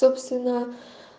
собственно